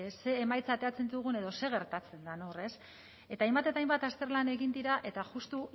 ze emaitza ateratzen dugun edo zer gertatzen den hor ez eta hainbat eta hainbat azterlan egin dira eta justu